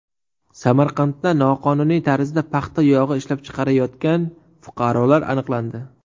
Samarqandda noqonuniy tarzda paxta yog‘i ishlab chiqarayotgan fuqarolar aniqlandi.